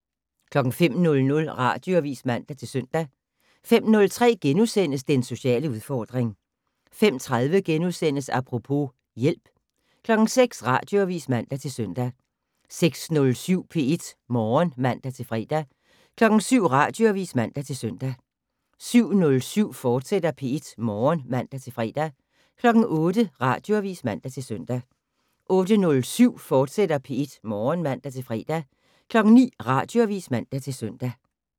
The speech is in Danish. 05:00: Radioavis (man-søn) 05:03: Den sociale udfordring * 05:30: Apropos - hjælp * 06:00: Radioavis (man-søn) 06:07: P1 Morgen (man-fre) 07:00: Radioavis (man-søn) 07:07: P1 Morgen, fortsat (man-fre) 08:00: Radioavis (man-søn) 08:07: P1 Morgen, fortsat (man-fre) 09:00: Radioavis (man-søn)